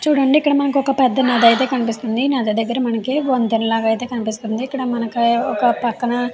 చూడండి ఇక్కడ మనకి ఒక పెద్ద నది అయితే కనిపిస్తుంది నది దగ్గర మనకు ఒక వంతెన లాగైతే కనిపిస్తుంది ఇక్కడ మనకి ఒక పక్కనే --